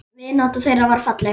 Vinátta þeirra var falleg.